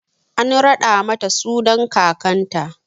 An raɗa mata sunan kakanta.